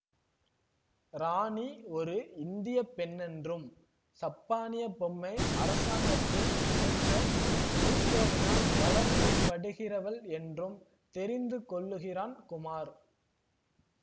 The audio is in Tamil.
ராணி ஒரு இந்திய பெண்ணென்றும் சப்பானிய பொம்மை அரசாங்கத்தின் அமைச்சர் ஊசோவினால் வளர்க்கப்படுகிறவள் என்றும் தெரிந்து கொள்ளுகிறான் குமார்